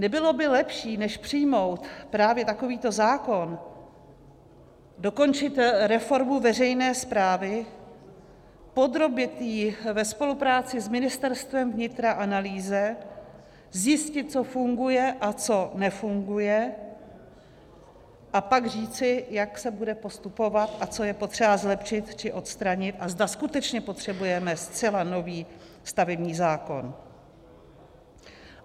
Nebylo by lepší, než přijmout právě takovýto zákon, dokončit reformu veřejné správy, podrobit ji ve spolupráci s Ministerstvem vnitra analýze, zjistit, co funguje a co nefunguje, a pak říci, jak se bude postupovat a co je potřeba zlepšit či odstranit a zda skutečně potřebujeme zcela nový stavební zákon?